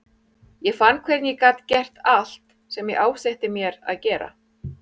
Ég fann hvernig ég gat gert allt sem ég ásetti mér að gera.